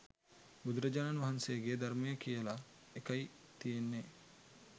බුදුරජාණන් වහන්සේගේ ධර්මය කියලා එකයි තියෙන්නේ